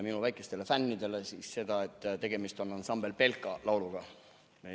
" Oma väikestele fännidele täpsustan, et tegemist on ansambel Belka lauluga.